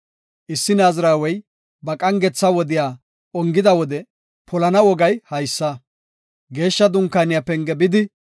“Issi naazirawey ba qangetha wodiya ongida wode polana wogay haysa; Geeshsha Dunkaaniya penge bidi;